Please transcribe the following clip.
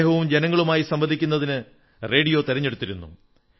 അദ്ദേഹവും ജനങ്ങളുമായി സംവദിക്കുന്നതിന് റേഡിയോ തിരഞ്ഞെടുത്തിരുന്നു